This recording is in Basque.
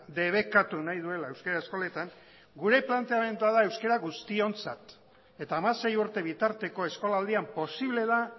debekatu nahi duela euskara eskoletan gure planteamendua da euskara guztiontzat eta hamasei urte bitarteko eskolaldian posible da